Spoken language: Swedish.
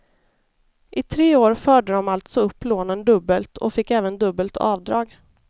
I tre år förde de alltså upp lånen dubbelt och fick även dubbelt avdrag.